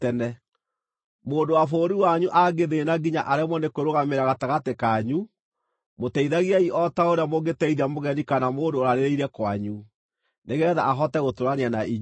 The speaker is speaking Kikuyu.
“ ‘Mũndũ wa bũrũri wanyu angĩthĩĩna nginya aremwo nĩ kwĩrũgamĩrĩra gatagatĩ kanyu, mũteithagiei o ta ũrĩa mũngĩteithia mũgeni kana mũndũ ũrarĩrĩire kwanyu, nĩgeetha ahote gũtũũrania na inyuĩ.